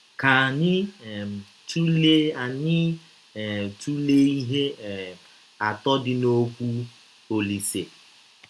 Ka anyị um tụlee anyị um tụlee ihe um atọ dị n’ọkwụ Ọlise.